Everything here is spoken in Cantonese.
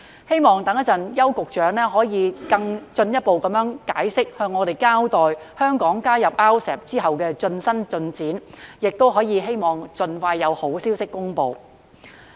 希望邱局長稍後作出進一步解釋，並向我們交代香港加入 RCEP 後的最新進展，亦希望盡快有好消息公布。